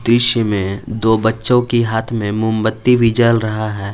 इसमें में दो बच्चों की हाथ में मोमबत्ती भी जल रहा है।